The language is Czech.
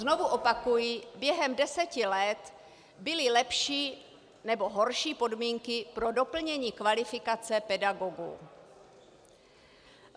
Znovu opakuji, během deseti let byly lepší nebo horší podmínky pro doplnění kvalifikace pedagogů.